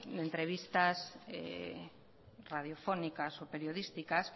de entrevistas radiofónicas y periodísticas